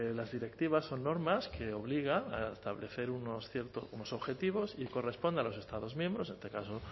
las directivas son normas que obligan a establecer unos objetivos y corresponde a los estados miembros en este caso